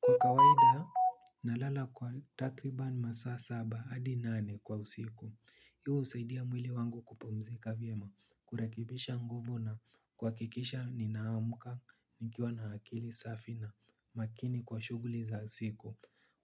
Kwa kawaida, nalala kwa takriban masaa saba, adi nane, kwa usiku. Hii usaidia mwili wangu kupumzika vyema. Kurekebisha nguvu na kwakikisha ninaamka nikiwa na akili safi na makini kwa shughuli za siku.